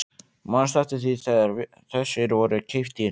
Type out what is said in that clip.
Manstu eftir því þegar þessir voru keyptir?